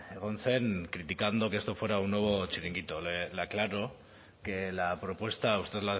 egon zen criticando que esto fuera un nuevo chiringuito le aclaro que la propuesta usted